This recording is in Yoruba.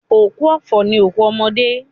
Òkú ọ̀fọ̀ ni òkú ọmọdé.